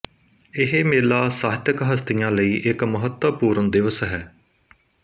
ਇਹ ਮੇਲਾ ਸਾਹਿਤਿਕ ਹਸਤੀਆਂ ਲਈ ਇੱਕ ਮਹੱਤਵਪੂਰਨ ਦਿਵਸ ਹੈ